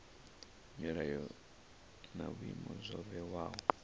milayo na vhuimo zwo vhewaho